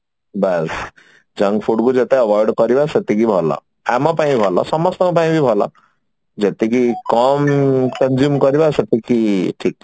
ବାସ junk food କୁ ଯେତେ avoid କରିବା ସେତିକି ଭଲ ଆମ ପାଇଁ ଭଲ ସମସ୍ତଙ୍କ ପାଇଁ ବି ଭଲ ଯେତିକି କମ consume କରିବା ସେତିକି ଠିକ